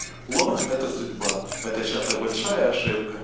лох это судьба это чистая большая